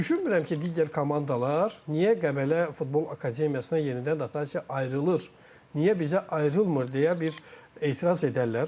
Düşünmürəm ki, digər komandalar niyə Qəbələ Futbol Akademiyasına yenidən dotasiya ayrılır, niyə bizə ayrılmır deyə bir etiraz edərlər.